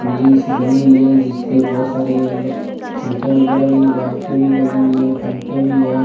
Building सी बनी हुई है जिसपे बहोत सारे मतलब फन्के वगैरा भी लाइटें भी लगी हुई है पंखे भी है।